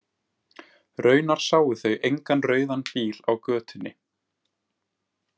Raunar sáu þau engan rauðan bíl í götunni.